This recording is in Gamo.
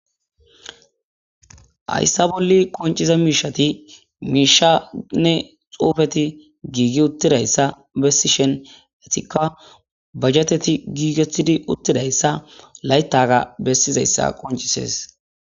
hayssa bolli qonciza miishati miishanne xuufeti giigi uttidayssa bessishen etika bajeteti giigetidi uttidayssa layttaga bessizayssa qoncises